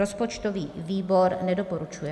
Rozpočtový výbor nedoporučuje.